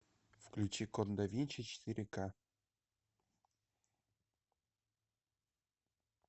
включи код да винчи четыре ка